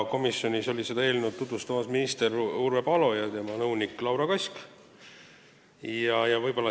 Komisjonis olid seda eelnõu tutvustamas minister Urve Palo ja tema nõunik Laura Kask.